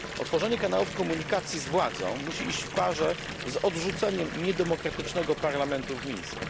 Otworzenie kanałów komunikacji z władzą musi iść w parze z odrzuceniem niedemokratycznego parlamentu w Mińsku.